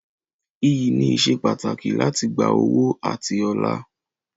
Iyì ni ìsepàtàkì láti gba ọ̀wọ̀ àti ọlá.